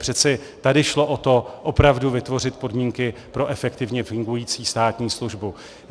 Přeci tady šlo o to opravdu vytvořit podmínky pro efektivně fungující státní službu.